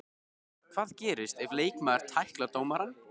Hvað gerist ef leikmaður tæklar dómarann?